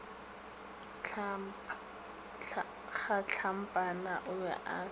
kgatlampana o be a sa